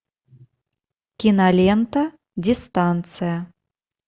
кинолента дистанция